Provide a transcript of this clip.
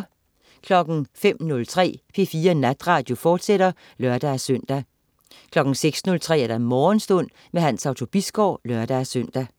05.03 P4 Natradio, fortsat (lør-søn) 06.03 Morgenstund. Hans Otto Bisgaard (lør-søn)